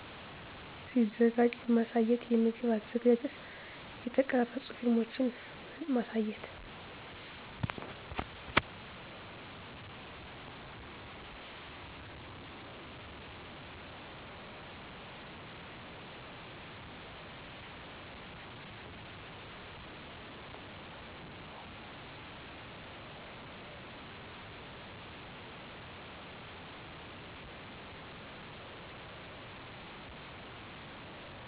ሲዘጋጂ በማሳየት የምግብ አዘገጃጀት የተቀረፁ ፊልሞችን ማሳየት